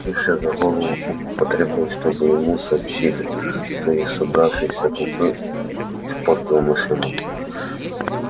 схватившись за голову он потребовал чтобы ему сообщили кто из собравшейся толпы испортил машину